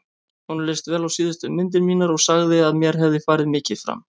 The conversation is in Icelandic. Honum leist vel á síðustu myndir mínar og sagði að mér hefði farið mikið fram.